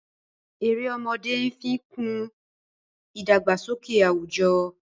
Èrè ọmọdé nfi kún idagbasọkẹ awujo.